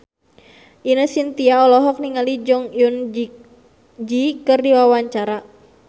Ine Shintya olohok ningali Jong Eun Ji keur diwawancara